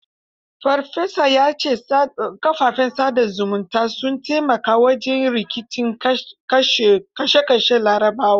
Farfesa ya ce kafafen sa da zumunta sun taimaka wajen rikicin ƙashashen Larabawa.